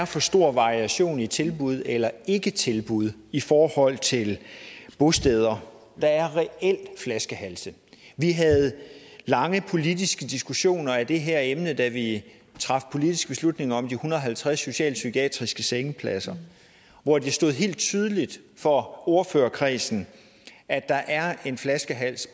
for stor variation i tilbud eller ikke tilbud i forhold til bosteder der er reelt flaskehalse vi havde lange politiske diskussioner om det her emne da vi traf politisk beslutning om de en hundrede og halvtreds socialpsykiatriske sengepladser hvor det stod helt tydeligt for ordførerkredsen at der er en flaskehals